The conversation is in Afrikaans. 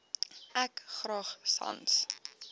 ek graag sans